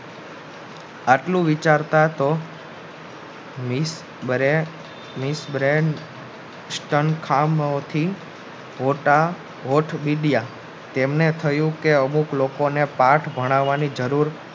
આટલું વિચારતા તો તેમને થયું કે અમુક લોકો ને પાથ ભણાવાની જરૂર